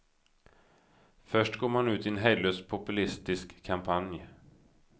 Först går man ut i en hejdlös populistisk kampanj.